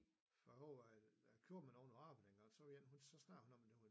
Jeg overvejede at købe nogle rablinger så var der en så snakkede hun om